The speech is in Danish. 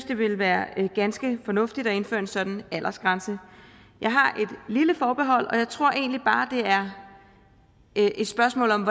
det ville være ganske fornuftigt at indføre en sådan aldersgrænse jeg har et lille forbehold og jeg tror egentlig bare at det er et spørgsmål om